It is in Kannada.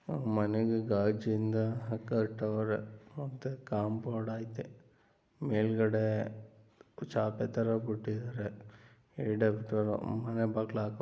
ಮನೆಗೆ ಕಾಜೀನಿಂದ ಕಟ್ಟಿದ್ದಾರೆ ಕಾಪೌಂಡು ಇದೆ ಮೇಲುಗಡೆ ಚಾಪೆ ತರ ಬಿಟ್ಟಿದ್ದಾರೆ ಮನೆ ಬಾಗಿಲು ಹಾಕಿದ್ದಾರೆ